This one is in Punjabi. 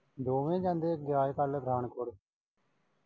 ਦੋਵੇਂ ਜਾਂਦੇ ਆ ਦਿਆਲ ਕਾ ਲਗਾਣ ਕੋਲੇ।